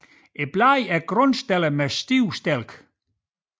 Bladene er grundstillede med stive stilke